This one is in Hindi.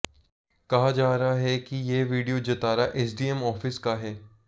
कहा जा रहा है कि यह वीडियो जतारा एसडीएम आॅफिस का है